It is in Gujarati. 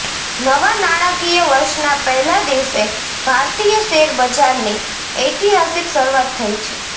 નવા નાણાંકીય વર્ષના પહેલા દિવસે ભારતીય શેરબજારની ઐતિહાસિક શરૂઆત થઈ છે